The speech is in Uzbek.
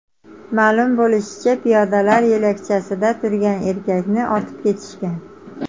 Ma’lum bo‘lishicha, piyodalar yo‘lakchasida turgan erkakni otib ketishgan.